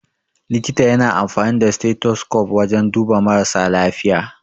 Likita ya na amfani da stethoscope wajan duba marasa lafiya.